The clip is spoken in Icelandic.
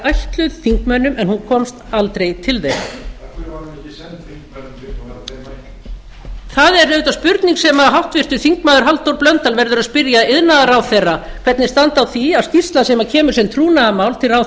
ætluð þingmönnum en hún komst aldrei til þeirra af hverju var hún ekki send þingmönnum fyrst það er auðvitað spurning sem háttvirtur þingmaður halldór blöndal verður að spyrja iðnaðarráðherra hvernig standi á því að skýrsla sem kemur sem trúnaðarmál til ráðherra af